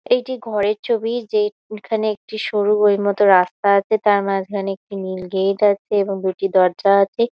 একটি ঘরের ছবি। সেখানে সরু বই এর মতন রাখা আছে। তার মাজখানে একটি নীল গেট আছে। এবং দরজা আছে।